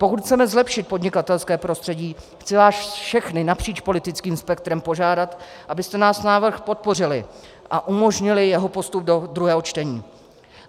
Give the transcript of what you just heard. Pokud chceme zlepšit podnikatelské prostředí, chci vás všechny napříč politickým spektrem požádat, abyste náš návrh podpořili a umožnili jeho postup do druhého čtení.